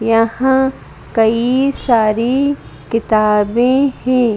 यहां कई सारी किताबें हैं।